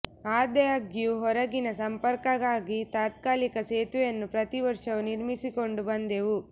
ಆದಾಗ್ಯೂ ಹೊರಗಿನ ಸಂಪರ್ಕಕ್ಕಾಗಿ ತಾತ್ಕಾಲಿಕ ಸೇತುವೆಯನ್ನು ಪ್ರತೀ ವರ್ಷವೂ ನಿರ್ಮಿಸಿಕೊಂಡು ಬಂದೆವು